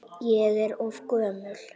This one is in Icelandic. Ég er of gömul.